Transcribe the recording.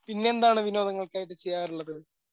പിന്നെ എന്താണ് വിനോദങ്ങളൊക്കെയായിട്ട് ചെയ്യാറുള്ളത്?